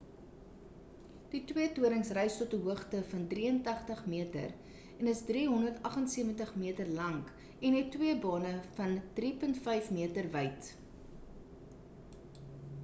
die twee torings rys tot 'n hoogte van 83-meter en is 378-meter lank en het twee bane van 3.50-meter wyd